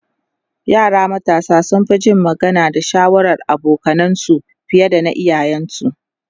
yara matasa sun Fi Jin magana da shawarar abokanansu fiye da na iyayen su